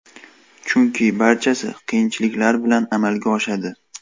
Chunki barchasi qiyinchiliklar bilan amalga oshadi.